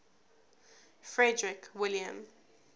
frederick william